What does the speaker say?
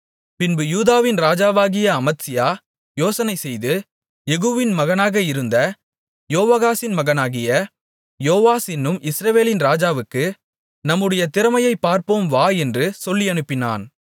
பின்பு யூதாவின் ராஜாவாகிய அமத்சியா யோசனைசெய்து யெகூவின் மகனாக இருந்த யோவாகாசின் மகனாகிய யோவாஸ் என்னும் இஸ்ரவேலின் ராஜாவுக்கு நம்முடைய திறமையைப் பார்ப்போம் வா என்று சொல்லியனுப்பினான்